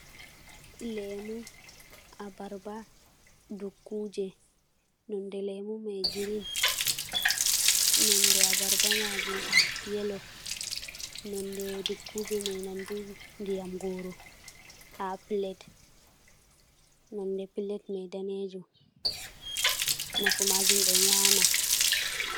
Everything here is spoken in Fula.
Lemu, abarba, dukkuje, nonde lemu mai girin, nonde abarba maajum yelo, nonde dukkuje mai nandu ndiyam gooro ha pilet, nonde pilet mai daneejum. Nafu maajum ɓe nyama.